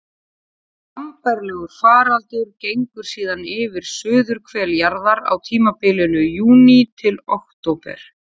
Sambærilegur faraldur gengur síðan yfir suðurhvel jarðar á tímabilinu júní til október.